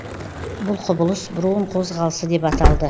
бұл құбылыс броун қозғалысы деп аталды